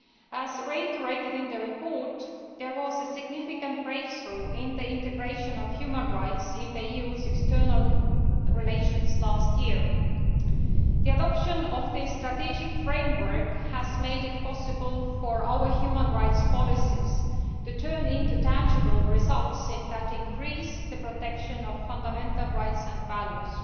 As reiterated in the report, there was a significant breakthrough in the integration of human rights in the EU's external relations last year. The adoption of the strategic framework has made it possible for our human rights policies to turn into tangible results that increase the protection of fundamental rights and values.